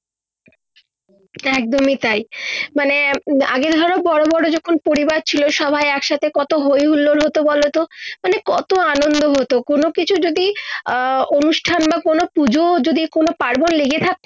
একদমই তাই মানে আগে ধরো বড় বড় যখন পরিবার ছিলো সবাই একসাথে কত হৈ হুল্লোড় হত বলো তো মানে কত আনন্দ হত কোন কিছু যদি আহ অনুষ্ঠান বা কোন পুজো যদি কোন পার্বন লেগে থাকত